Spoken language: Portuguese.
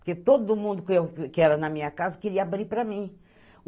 Porque todo mundo que era na minha casa queria abrir para mim.